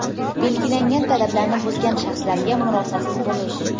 belgilangan talablarni buzgan shaxslarga murosasiz bo‘lish;.